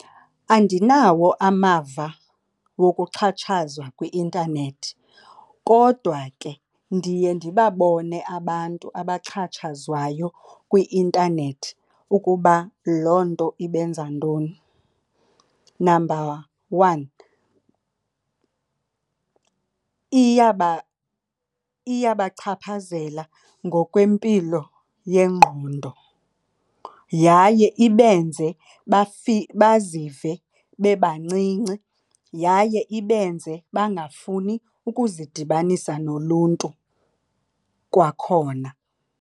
Andinawo amava wokuxhatshazwa kwi-intanethi kodwa ke ndiye ndibabone abantu abaxhatshazwayo kwi-intanethi ukuba loo nto ibenza ntoni. Number one, iyabachaphazela ngokwempilo yengqondo yaye ibenze bazive bebancinci. Yaye ibenze bangafuni ukuzidibanisa noluntu kwakhona.